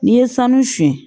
N'i ye sanu siyɛn